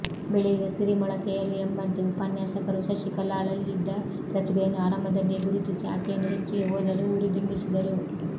ಬೆಳೆಯುವ ಸಿರಿ ಮೊಳಕೆಯಲ್ಲಿ ಎಂಬಂತೆ ಉಪನ್ಯಾಸಕರು ಶಶಿಕಲಾಳಲ್ಲಿದ್ದ ಪ್ರತಿಭೆಯನ್ನು ಆರಂಭದಲ್ಲಿಯೇ ಗುರುತಿಸಿ ಆಕೆಯನ್ನು ಹೆಚ್ಚಿಗೆ ಓದಲು ಹುರುದುಂಬಿಸಿದರು